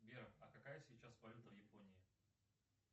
сбер а какая сейчас валюта в японии